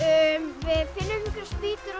við finnum einhverjar spýtur og